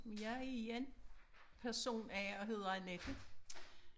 Men jeg igen person A og hedder Annette